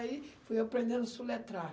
Aí fui aprendendo a soletrar.